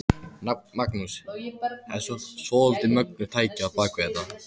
Magnús: Þetta er svolítið mögnuð tækni á bak við þetta?